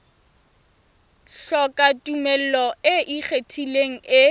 hloka tumello e ikgethang e